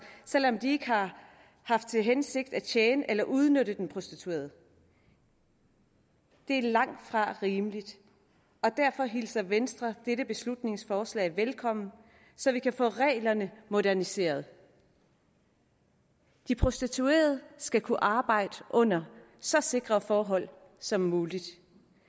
selv om de ikke har haft til hensigt at tjene på eller udnytte den prostituerede det er langtfra rimeligt og derfor hilser venstre dette beslutningsforslag velkommen så vi kan få reglerne moderniseret de prostituerede skal kunne arbejde under så sikre forhold som muligt